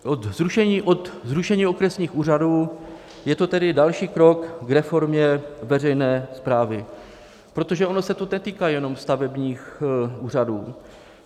Od zrušení okresních úřadů je to tedy další krok k reformě veřejné správy, protože ono se to netýká jenom stavebních úřadů.